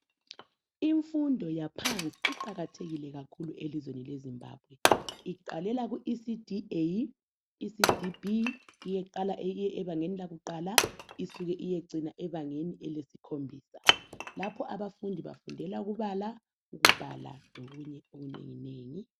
Imfundo yaphansi iqakathekile kakhulu elizweni leZimbabwe, iqalela ku ECD A, ECD B, kuyeqala eyinye ebangeni lakuqala isuke iyecina ebangeni lesikhombisa. Lapho abafundi bafundela ukubala , ukubhala lokunye okunengi nengi.